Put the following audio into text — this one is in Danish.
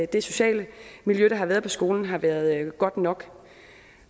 det sociale miljø der har været på skolen har været godt nok